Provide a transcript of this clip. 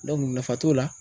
nafa t'o la.